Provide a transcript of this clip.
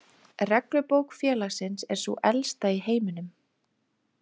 Reglubók félagsins er sú elsta í heiminum.